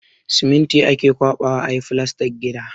Siminti ake ƙwaɓawa a yi filastan gida.